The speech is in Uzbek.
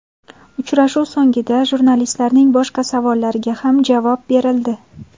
Uchrashuv so‘nggida jurnalistlarning boshqa savollariga ham javob berildi.